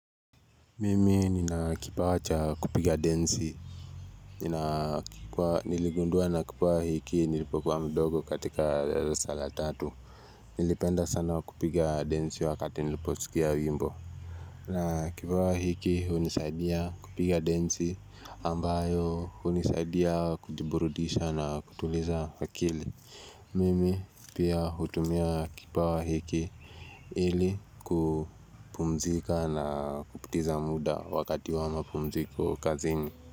Mimi ninakipawa cha kupiga densi Ninakipawa niligundua na kipawa hiki nilipokuwa mdogo katika darasa la tatu Nilipenda sana kupiga densi wakati niliposikia wimbo na kipawa hiki hunisaidia kupiga densi ambayo hunisaidia kujiburudisha na kutuliza akili Mimi pia hutumia kipawa hiki ili kupumzika na kupitiza muda wakati wa mapumziko kazini.